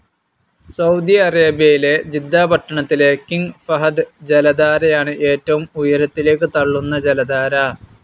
Saudi അറേബ്യയിലെ Jeddah പട്ടണത്തിലെ King Fahd ജലധാരയാണ് ഏറ്റവും ഉയരത്തിലേക്ക് തള്ളുന്ന ജലധാര.